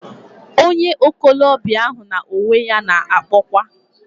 Onye okolobia ahu na onwe ya na-akpokwa....